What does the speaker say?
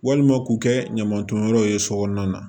Walima k'u kɛ ɲaman tonyɔrɔ ye so kɔnɔna na